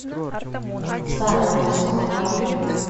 сайрус покажи